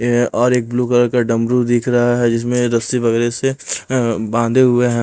ये है और एक ब्लू कलर का डमरू दिख रहा है जिसमें रस्सी वगैरह से अअ बांधे हुए है ।